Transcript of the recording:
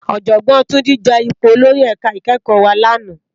Òjògbòn Tunde je ipó ólórì èká ikèékò wá làná